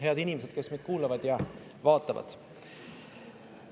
Head inimesed, kes meid kuulavad ja vaatavad!